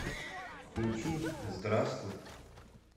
включи здравствуй